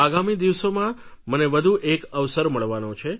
આગામી દિવસોમાં મને વધુ એક અવસર મળવાનો છે